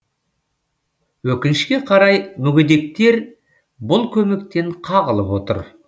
өкінішке қарай мүгедектер бұл көмектен қағылып отыр